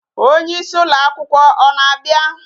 Onyeisi ụlọ akwụkwọ ọ na-abịa?